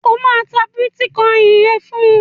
O máa ta bítíkọìnì rẹ fún.